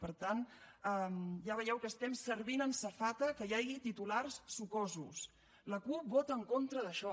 per tant ja veieu que estem servint en safata que hi hagi titulars sucosos la cup vota en contra d’això